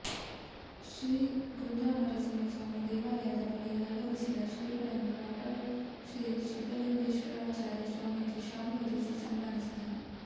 ಶ್ರೀ ಗುಂಜಾನರಸಿಂಹಸ್ವಾಮಿ ದೇವಾಲಯದ ಬಳಿ ಆಗಮಿಸಿದ ಶ್ರೀಗಳನ್ನು ವಾಟಾಳು ಶ್ರೀ ಸಿದ್ದಲಿಂಗಶಿವಚಾರ್ಯ ಸ್ವಾಮೀಜಿ ಶಾಲು ಹೊದಿಸಿ ಸನ್ಮಾನಿಸಿದರು